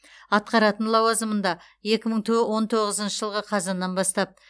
атқаратын лауазымында екі мың то он тоғызыншы жылғы қазаннан бастап